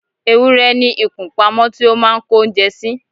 ewúrẹ́ ní ikùn pamọ́ tí ó máà ń kó oúnjẹ sí